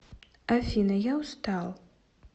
афина я устал